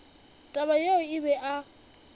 taba yeo o be a